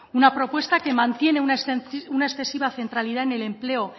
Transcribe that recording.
una propuesta que mantiene una excesiva centralidad en el empleo